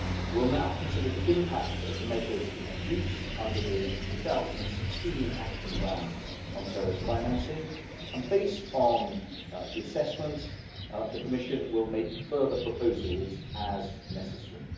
We will now consider the impact of the measures introduced under the 2016 Action Plan on terrorist financing and, based on the assessment, the Commission will make further proposals as necessary.